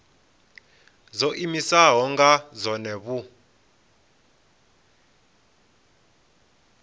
dzo iimisaho nga dzohe vhu